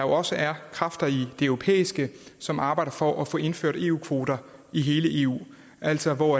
også er kræfter i det europæiske som arbejder for at få indført eu kvoter i hele eu altså hvor